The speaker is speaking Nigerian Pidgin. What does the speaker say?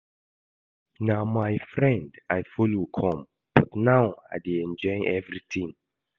Na my friend I follow come but now I dey enjoy everything